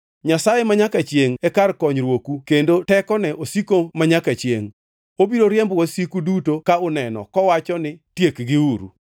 Nyasaye manyaka chiengʼ e kar konyruoku kendo tekone osiko manyaka chiengʼ. Obiro riembo wasiku duto ka uneno kowacho ni, ‘Tiekgiuru!’